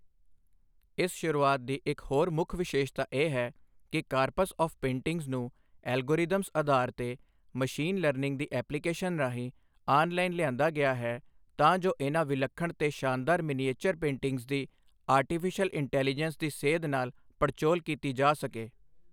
ਇਸ ਸ਼ੁਰੂਆਤ ਦੀ ਇਕ ਹੋਰ ਮੁੱਖ ਵਿਸ਼ੇਸਤਾ ਇਹ ਹੈ ਕਿ ਕਾਰਪਸ ਆਫ ਪੇਟਿੰਗਜ਼ ਨੂੰ ਐਲਗੋਰਿਧਮਜ਼ ਅਧਾਰ ਤੇ ਮਸ਼ੀਨ ਲਰਨਿੰਗ ਦੀ ਐਪਲੀਕੇਸ਼ਨ ਰਾਹੀਂ ਆਨ ਲਾਈਨ ਲਿਆਂਦਾ ਗਿਆ ਹੈ ਤਾਂ ਜੋ ਇਹਨਾ ਵਿਲੱਖਣ ਤੇ ਸ਼ਾਨਦਾਰ ਮਿਨੀਏਚਰ ਪੇਟਿੰਗਜ਼ ਦੀ ਆਰਟੀਫੀਸ਼ਿਅਲ ਇੰਟੈਲੀਜੈਂਸ ਦੀ ਸੇਧ ਨਾਲ ਪੜਚੋਲ ਕੀਤੀ ਜਾ ਸਕੇ।